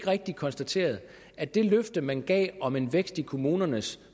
rigtigt konstateret at det løfte man gav om en vækst i kommunernes